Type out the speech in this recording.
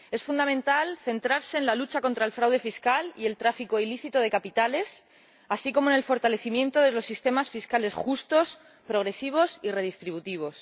Es fundamental centrarse en la lucha contra el fraude fiscal y el tráfico ilícito de capitales, así como en el fortalecimiento de los sistemas fiscales justos, progresivos y redistributivos.